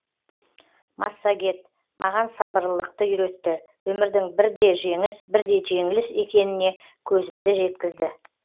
массагет маған сабырлылықты үйретті өмірдің бірде жеңіс бірде жеңіліс екеніне көзімді жеткізді